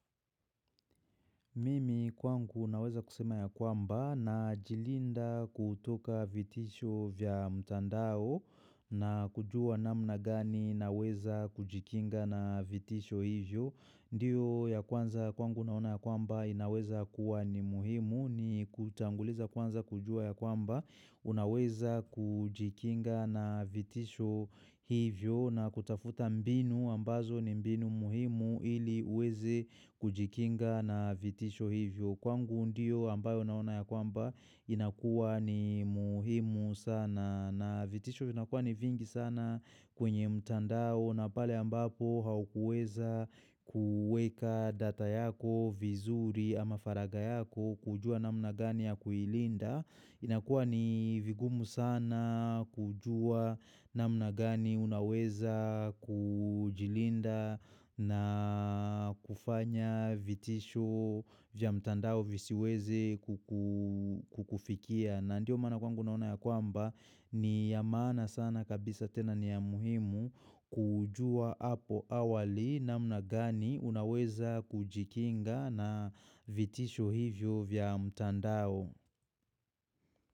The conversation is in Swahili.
Mimi kwangu naweza kusema ya kwamba najilinda kutoka vitisho vya mtandao na kujua nadhani naweza kujikinga na vitisho hizo ndiyo ya kwanza kwangu naona ya kwamba inaweza kuwa ni muhimu ni kutanguliza kwanza kujua ya kwamba unaweza kujikinga na vitisho hivyo. Na kutafuta mbinu ambazo ni mbinu muhimu ili uweze kujikinga na vitisho hivyo kwangu ndio ambayo naona ya kwamba inakuwa ni muhimu sana na vitisho vinakuwa ni vingi sana kwenye mtandao na pale ambapo haukuweza kuweka data yako, vizuri ama faragha yako kujua namna gani ya kuilinda inakua ni vigumu sana kujua namna gani unaweza kujilinda na kufanya vitisho vya mtandao visiweze kukufikia. Na ndiyo maana kwangu naona ya kwamba ni ya maana sana kabisa tena ni ya muhimu kujua hapo awali namna gani unaweza kujikinga na vitisho hivyo vya mtandao.